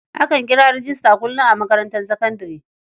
Akan kira rejista kullum a makarantar sakandare.